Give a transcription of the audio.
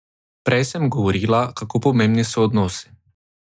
Prej sem govorila, kako pomembni so odnosi.